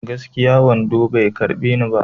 Gaskiya, wando bai karɓe ni ba.